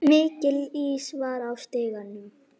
Mikill ís var á stígum.